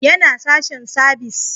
Yana sashen sabis